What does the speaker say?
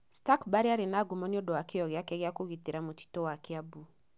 Stuchburry aarĩ na ngumo nĩ ũndũ wa kĩyo gĩake gĩa kũgitĩra mũtito wa Kiambu.